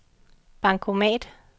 bankomat